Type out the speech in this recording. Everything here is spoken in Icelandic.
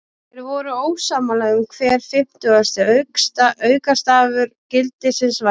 Þeir voru ósammála um hver fimmtugasti aukastafur gildisins væri.